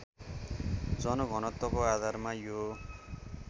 जलघनत्वको आधारमा यो